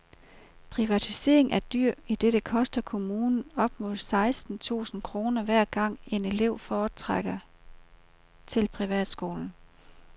Privatisering er dyr, idet det koster kommunen op mod seksten tusind kroner hver gang en elev fortrækker til privatskolen.